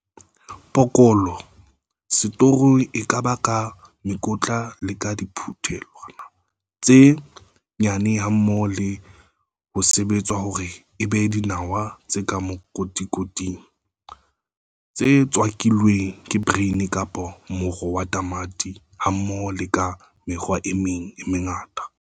Poloko setorong e ka ba ka mekotla le ka diphuthelwana tse nyane hammoho le ho sebetswa hore e be dinawa tse ka makotikoting, tse tswakilweng le brine kapa moro wa tamati hammoho le ka mekgwa e meng e mengata.